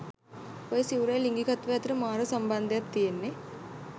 ඔය සිවුරයි ලිංගිකත්වයයි අතර මාර සම්බන්ධයක් තියෙන්නෙ.